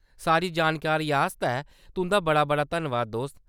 सारी जानकारी आस्तै तुंʼदा बड़ा-बड़ा धन्नबाद, दोस्त।